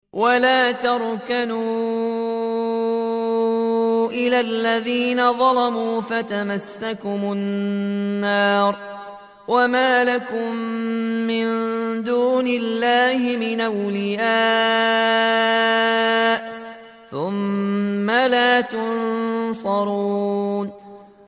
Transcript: وَلَا تَرْكَنُوا إِلَى الَّذِينَ ظَلَمُوا فَتَمَسَّكُمُ النَّارُ وَمَا لَكُم مِّن دُونِ اللَّهِ مِنْ أَوْلِيَاءَ ثُمَّ لَا تُنصَرُونَ